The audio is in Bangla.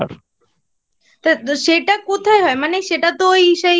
তো সেটা কোথায় হয়? মানে সেটা তো ওই সেই